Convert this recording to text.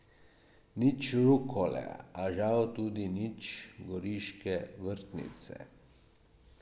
Nič rukole, a žal tudi nič goriške vrtnice.